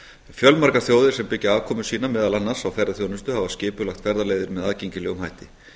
fjölmargar þjóðir sem byggja afkomu sína meðal annars á ferðaþjónustu hafa skipulagt ferðaleiðir með aðgengilegum hætti